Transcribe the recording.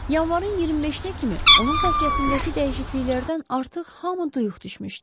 Yanvarın 25-nə kimi onun xasiyyətindəki dəyişikliklərdən artıq hamı duyuq düşmüşdü.